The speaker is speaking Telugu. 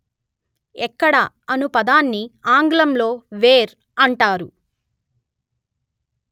ఎక్కడ అను పదాన్ని ఆంగ్లంలో వేర్ అంటారు